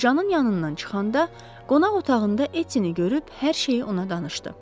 Qocanın yanından çıxanda qonaq otağında Etini görüb hər şeyi ona danışdı.